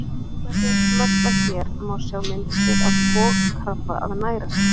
Með því að smella hér má sjá myndskeið af bogkrabba að næra sig.